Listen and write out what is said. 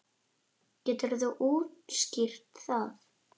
Geturðu útskýrt það?